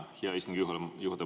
Hea istungi juhataja!